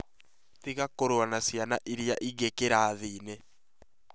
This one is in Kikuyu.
Tiga kũrũa na ciana iria ingĩ kĩrathiinĩ